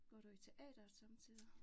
Går du i teateret somme tider?